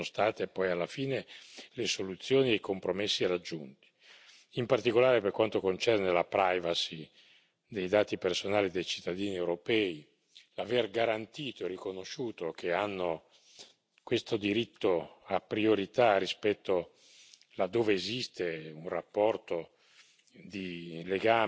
Io sono molto contento di quali sono state poi alla fine le soluzioni e i compromessi raggiunti, in particolare per quanto concerne la privacy dei dati personali dei cittadini europei. L'aver garantito e riconosciuto che hanno questo diritto a priorità rispetto laddove esiste un rapporto